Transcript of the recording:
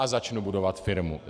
A začnu budovat firmu.